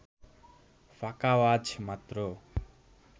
ফাঁকা আওয়াজ মাত্র